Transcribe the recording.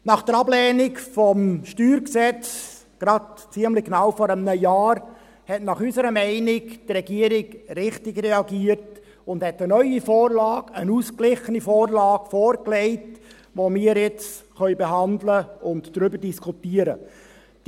Nach der Ablehnung des StG vor ziemlich genau einem Jahr hat unserer Meinung nach die Regierung richtig reagiert und eine neue Vorlage, eine ausgeglichene Vorlage, vorgelegt, die wir nun behandeln und diskutieren können.